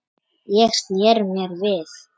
Ég sneri mér við.